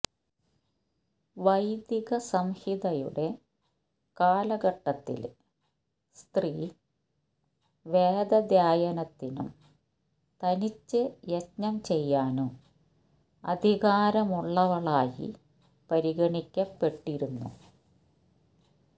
വൈദിക സംഹിതയുടെ കാലഘട്ടത്തില് സ്ത്രീ വേദാധ്യായനത്തിനും തനിച്ച് യജ്ഞം ചെയ്യാനും അധികാരമുള്ളവളായി പരിഗണിക്കപ്പെട്ടിരുന്നു